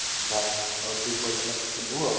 ବାସ ଆଉ ତୁ ପେଇସା ଟା ପଠେଇ ଦବୁ